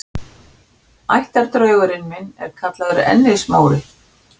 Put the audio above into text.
Ættardraugurinn minn er kallaður Ennis-Móri.